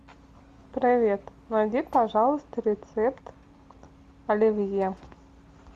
привет найди пожалуйста рецепт оливье